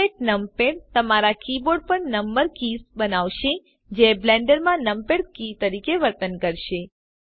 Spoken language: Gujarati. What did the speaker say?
એમ્યુલેટ નંપાડ તમારા કીબોર્ડ પર નંબર કીઝ બનાવશે જે બ્લેન્ડર માં નંપાડ keysતરીકે વર્તન કરશે